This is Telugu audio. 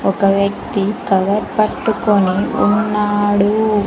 ఒక వ్యక్తి కవర్ పట్టుకొని ఉన్నాడు.